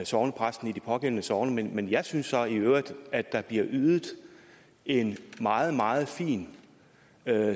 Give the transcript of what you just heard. sognepræsten i det pågældende sogn men men jeg synes så i øvrigt at der bliver ydet en meget meget fin